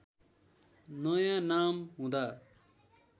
नयाँ नाम हुँदा